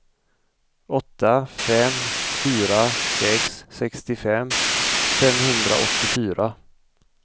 åtta fem fyra sex sextiofem femhundraåttiofyra